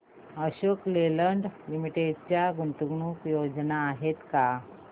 Ashok Leyland Limited च्या गुंतवणूक योजना आहेत का